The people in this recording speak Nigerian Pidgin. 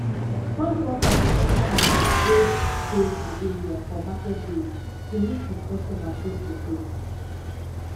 farm workers dey enta markets wey dey di area for market days to meet with customer face to face